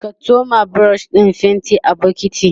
ka tsoma brush ɗin faintin a bokintin